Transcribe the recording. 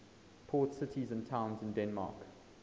port cities and towns in denmark